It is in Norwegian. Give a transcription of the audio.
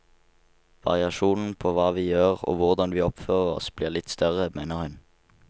Variasjonen på hva vi gjør og hvordan vi oppfører oss blir litt større, mener hun.